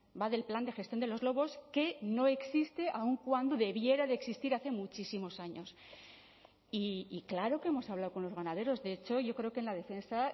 va del plan de gestión de los lobos que no existe aun cuando debiera de existir hace muchísimos años y claro que hemos hablado con los ganaderos de hecho yo creo que en la defensa